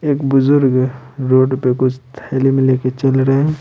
एक बुजुर्ग रोड पे कुछ थैली में ले के चल रहे है।